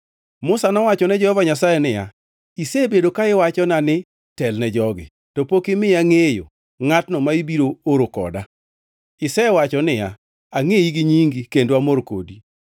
Musa nowacho ne Jehova Nyasaye niya, “Isebedo ka iwachona ni, ‘Telne jogi,’ to pok imiya ngʼeyo ngʼatno ma ibiro oro koda. Isewacho niya, ‘Angʼeyi gi nyingi kendo amor kodi.’